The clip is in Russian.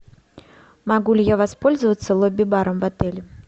могу ли я воспользоваться лобби баром в отеле